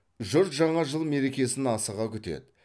жұрт жаңа жыл мерекесін асыға күтеді